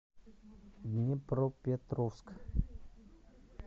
днепропетровск